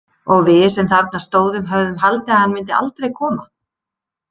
Og við sem þarna stóðum höfðum haldið að hann myndi aldrei koma.